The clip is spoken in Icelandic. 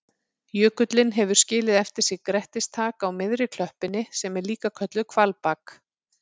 Jökullinn hefur skilið eftir sig grettistak á miðri klöppinni sem er líka kölluð hvalbak.